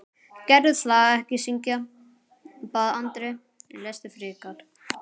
Gerðu það ekki syngja, bað Andri, lestu frekar.